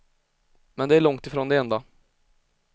Men det är långt ifrån det enda.